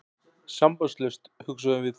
Sambandslaust, hugsuðum við.